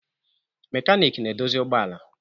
Mekanik na-edozi ụgbọala